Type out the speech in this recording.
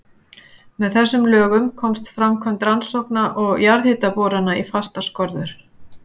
Með þessum lögum komst framkvæmd rannsókna og jarðhitaborana í fastar skorður.